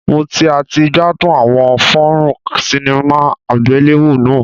Mo ti a ti gbadun awọn fonron cinema agbelewo naa